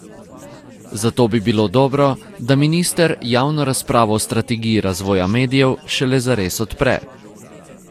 Zato bi bilo dobro, da minister javno razpravo o strategiji razvoja medijev šele zares odpre.